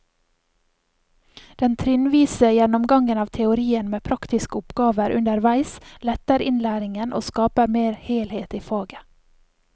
Den trinnvise gjennomgangen av teorien med praktiske oppgaver underveis letter innlæringen og skaper mer helhet i faget.